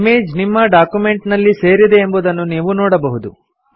image ನಿಮ್ಮ document ನಲ್ಲಿ ಸೇರಿದೆ ಎಂಬುದನ್ನು ನೀವು ನೋಡಬಹುದು